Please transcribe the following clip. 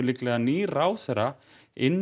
nýr ráðherra inn